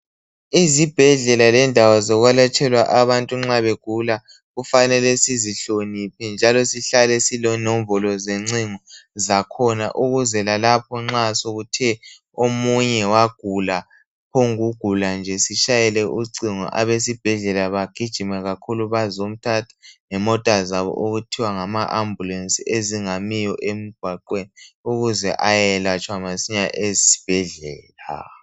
Izibhedlela lendawo zokwelatshelwa abantu nxa begula , kufanele sizihloniphe njalo sihlale silenombolo zencingo zakhona ukuze lalapho nxa sokuthe omunye wagula , waphongugula nje sitshayele ucingo abesibhedlela bagijime kakhulu bazomthatha ngemota zabo okuthiwa ngama ambulance ezingamiyo emgwaqweni ukuze ayeyelatshwa masinya esibhedlela